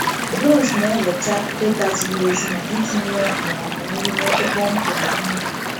Drones na-eweta data ziri ezi maka ịtinye ọgwụ ma ọ bụ nri n’ebe kpọmkwem n’ubi.